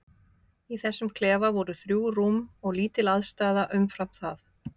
Í þessum klefa voru þrjú rúm og lítil aðstaða umfram það.